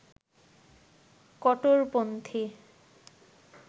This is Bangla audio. কট্টরপন্থী